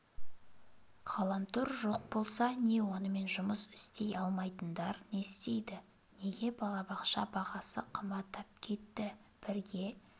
ғаламтор жоқ болса не онымен жұмыс істей алмайтындар не істейді неге балабақша бағасы қымбаттап кетті бірге